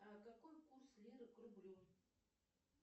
какой курс лиры к рублю